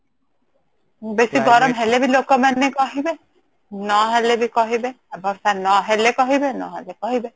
ବେଶି ଗରମ ହେଲେ ବି ଲୋକମାନେ କହିବେ ନ ହେଲେ ବ କହିବେ ବର୍ଷା ନ ହେଲେ କହିବେ ନ ହେଲେ କହିବେ